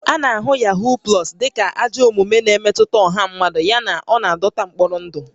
A na-ahụta Yahoo Plus dị ka ajọ omume na-emetụta ọha mmadụ yana ọ na-adọta mkpọrọ ndụ